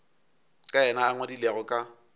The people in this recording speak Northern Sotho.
ka yena a ngwadilego ka